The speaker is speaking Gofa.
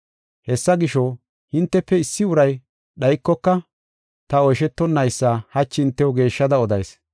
Hessa gisho, hintefe issi uray dhaykoka ta oyshetonnaysa hachi hintew geeshshada odayis.